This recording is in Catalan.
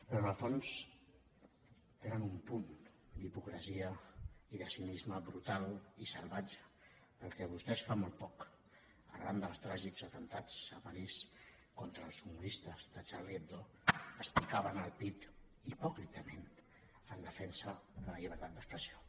però en el fons tenen un punt d’hipocresia i de cinisme brutal i salvatge perquè vostès fa molt poc arran dels tràgics atemptats a parís contra els humoristes de charlie hebdo es picaven el pit hipòcritament en defensa de la llibertat d’expressió